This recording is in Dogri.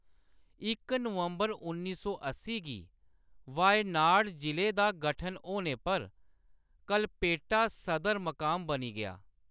इक नवंबर उन्नी अस्सी गी वायनाड जिले दा गठन होने पर कलपेट्टा सदर मकाम बनी गेआ।